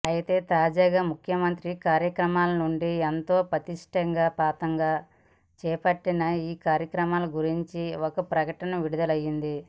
అయితే తాజాగా ముఖ్యమంత్రి కార్యాలయం నుండి ఎంతో ప్రతిష్టాత్మకంగా చేపట్టిన ఈ కార్యక్రమం గురించి ఒక ప్రకటన విడుదల అయ్యింది